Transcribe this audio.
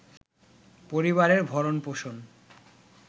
পরিবারের ভরণ-পোষণ